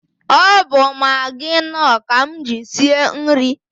Ọ bụ Magị Nọọ ka m ji sie nri.